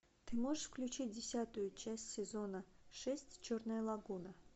ты можешь включить десятую часть сезона шесть черная лагуна